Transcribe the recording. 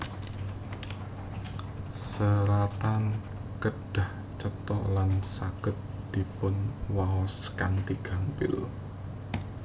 Seratan kedah cetha lan saged dipunwaos kanthi gampil